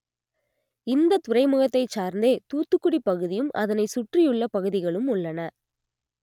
இந்த துறைமுகத்தை சார்ந்தே தூத்துக்குடி பகுதியும் அதனை சுற்றியுள்ள பகுதிகளும் உள்ளன